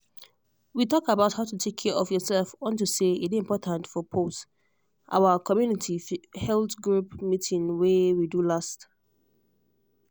we talk about how to take care of yourself unto say e dey important for pause our community health group meeeting wey we do last